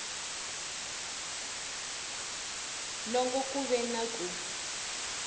loko ku ve na ku